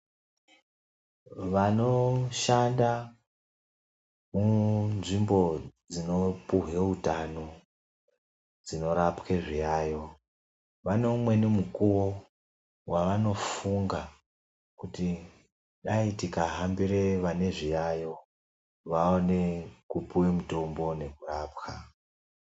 Vanoshanda munzvimbo dzinopuwa utano, dzinorapwa zviyayo, vane umweni mukuwo wevanofunga kuti dai tikahambira vane zviyayo vaone kupuwa mitombo nekurapwa.